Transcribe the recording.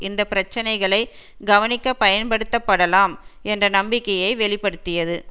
இந்த பிரச்சினைகளை கவனிக்க பயன்படுத்தப்படலாம் என்ற நம்பிக்கையை வெளி படுத்தியது